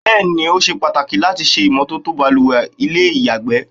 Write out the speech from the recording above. Bẹ́ẹ̀ ni, ó ṣe pàtàkì láti ṣe ìmọ́tótó baluwẹ̀ àti ilé ìyàgbẹ́.